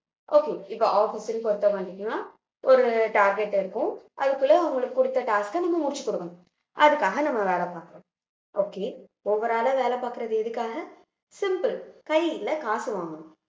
okay இப்ப office க்கு ஒரு target இருக்கும் அதுக்குள்ள உங்களுக்கு குடுத்த task அ நீங்க முடிச்சு குடுக்கணும் அதுக்காக நம்ம வேலை பாக்கலாம் okay overall ஆ வேலை பாக்கறது எதுக்காக simple கையில காசு வாங்கணும்